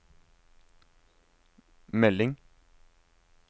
melding